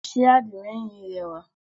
Sé àdìmẹ́yìn yí rẹwà?